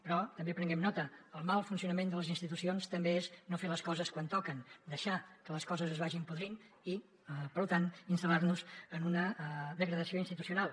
però també prenguem ne nota el mal funcionament de les institucions també és no fer les coses quan toquen deixar que les coses es vagin podrint i per tant instal·lar nos en una degradació institucional